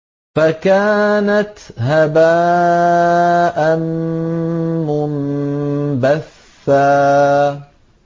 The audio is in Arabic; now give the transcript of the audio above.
فَكَانَتْ هَبَاءً مُّنبَثًّا